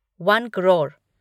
one crore